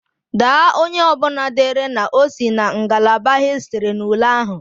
Daa onye ọbụla dere na o si na ngalaba hịstịrị n'ule ahụ!